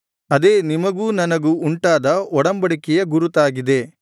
ಅದೇ ನಿಮಗೂ ನನಗೂ ಉಂಟಾದ ಒಡಂಬಡಿಕೆಯ ಗುರುತಾಗಿದೆ